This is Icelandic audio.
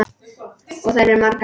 Og þær eru margar.